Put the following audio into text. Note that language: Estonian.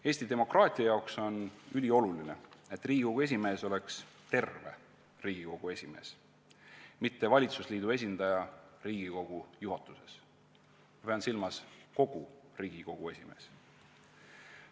Eesti demokraatia jaoks on ülioluline, et Riigikogu esimees oleks terve Riigikogu esimees, mitte valitsusliidu esindaja Riigikogu juhatuses, ma pean silmas, et kogu Riigikogu esimees.